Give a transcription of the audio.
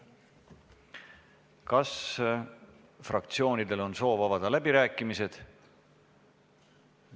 Kas fraktsioonidel on soov avada läbirääkimised?